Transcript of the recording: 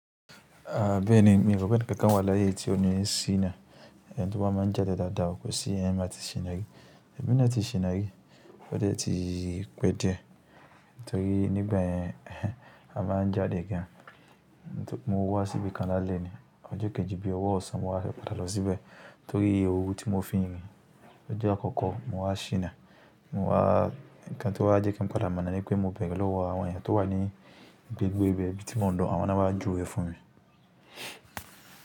Ah bẹ́ẹ̀ni, mi rò pé bóyá ẹni kankan wa láyé ti oní ṣina, ẹni tó bá máa n ja dáadáa o, kò sí yẹn o láti ṣina. Emi ni a ti ṣina rí, o dẹ ti pẹ diẹ, nítorí nígbà yẹn a máa n jáde gan. Nítorí mo wa síbi kan lálẹ́ ni, ọjọ kejì bí ọwọ ọ̀sán mo wa fẹ padà lọ síbẹ̀, nítorí owó ti mo fi rìn. Ọjọ akọkọ mo wa ṣina, mo wa, ǹkan ti o wa jẹ kí n padà mọ ọ̀nà ni pé mo béèrè lọwọ àwọn èèyan tó wa ni agbègbè ibi ti mo n lọ, àwọn ni wọn wa júwe fún mi.